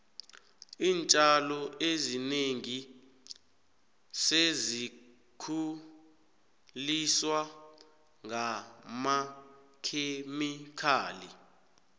iintjalo ezinengi sezikhuliswa ngamakhemikhali